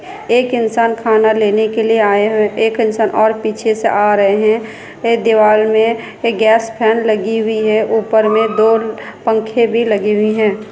एक इंसान खाना लेने के लिए आए हुए हैं एक इंसान और पीछे से आ रहे है ए दीवार मे एक गैस फेन लगी हुई है ऊपर मे दो पंखे भी लगी हुई है।